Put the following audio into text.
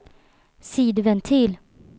sidventil